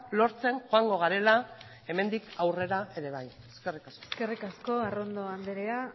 lortzen joango garela hemendik aurrera ere bai eskerrik asko eskerrik asko arrondo andrea